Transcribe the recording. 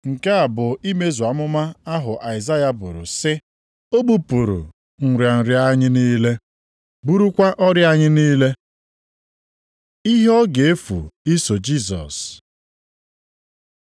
Nke a bụ imezu amụma ahụ Aịzaya buru sị, “O bupụrụ nrịa nrịa anyị niile, burukwa ọrịa anyị niile.” + 8:17 \+xt Aịz 53:4\+xt* Ihe ọ ga-efu iso Jisọs